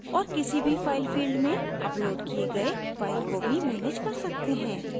और किसी भी file field में uploaded किए गए files को भी मैनेज कर सकते हैं